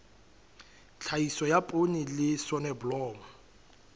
tlhahiso ya poone le soneblomo